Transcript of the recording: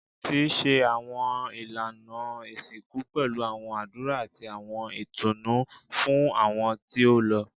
Ti ṣe awọn ilana isinku pẹlu awọn adura ati awọn itunu fun awọn ti o lọ